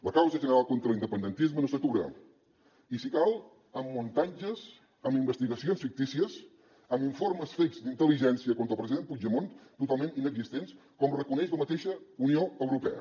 la causa general contra l’independentisme no s’atura i si cal amb muntatges amb investigacions fictícies amb informes fakes d’intel·ligència contra el president puigdemont totalment inexistents com reconeix la mateixa unió europea